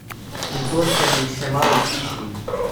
In to se mi še malo sliši.